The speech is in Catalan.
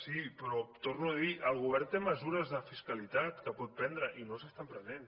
sí però ho torno a dir el go vern té mesures de fiscalitat que pot prendre i no s’estan pre nent